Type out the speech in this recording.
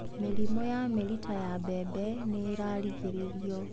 Mĩrimũ ya mĩrita ya mbembe nĩiragirĩrĩrio.